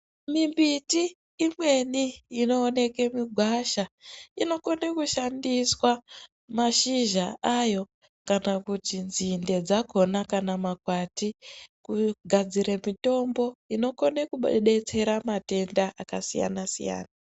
Mimbiti imweni inoonekwe mugwasha, inokone kushandiswa mashizha ayo, kana kuti nzinde dzakhona kana makwati, kugadzire mitombo inokone kubadetsera matenda akasiyana-siyana.